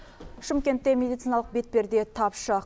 шымкентте медициналық бетперде тапшы